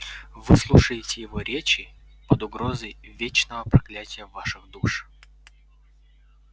вы слушаете его речи под угрозой вечного проклятия ваших душ